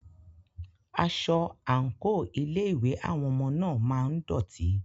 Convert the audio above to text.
Aṣọ/àǹkò ilé ìwé àwọn ọmọ náà máa ń dọ̀tí.